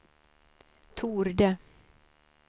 torde